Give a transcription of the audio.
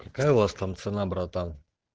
какая у вас там цена братан